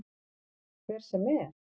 Hver sem er?